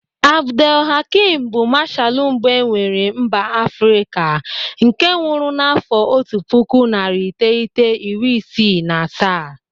Abdel Hakim bu mashalụ mbụ e nwere mba Afrịka nke nwụrụ n'afọ otu puku narị iteghete iri isii na asaa..